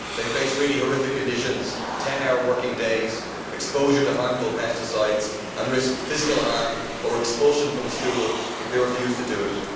They face really horrific conditions 10 hour working days, exposure to harmful pesticides and risk physical harm or expulsion from school if they refuse to do it.